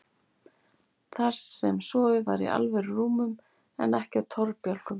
Þar sem sofið var í alvöru rúmum en ekki á torfbálkum.